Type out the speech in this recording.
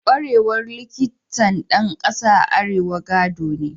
Kwarewar Likitan ɗan ƙasa a Afirka gado ne